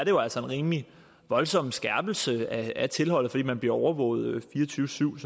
jo altså en rimelig voldsom skærpelse af tilholdet fordi man bliver overvåget fire og tyve syv